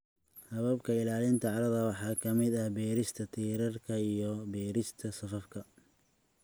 Hababka ilaalinta carrada waxaa ka mid ah beerista tiirarka iyo beerista safafka.